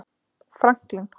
Franklín